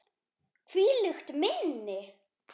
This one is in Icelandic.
Hvílíkt minni!